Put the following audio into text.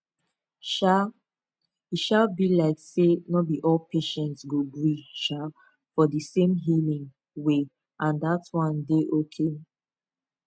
um e um be like say no be all patients go gree um for di same healing way and dat wan dey okay